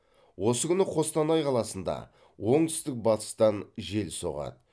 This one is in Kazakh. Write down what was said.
осы күні қостанай қаласында оңтүстік батыстан жел соғады